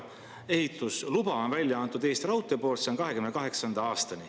Ehitusluba on Eesti Raudtee poolt välja antud, see on 2028. aastani.